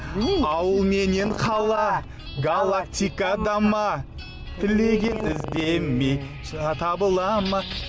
білмеймін мен ауыл менен қала галактикада ма тілеген іздеме табыла ма